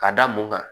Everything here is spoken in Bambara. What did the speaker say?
Ka da mun kan